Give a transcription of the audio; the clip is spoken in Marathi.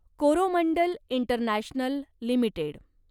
Coromandel international limited